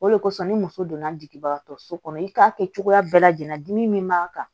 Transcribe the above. O de kosɔn ni muso donna jigin so kɔnɔ i k'a kɛ cogoya bɛɛ lajɛlen min b'a kan